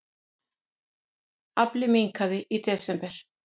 Afli minnkaði í desember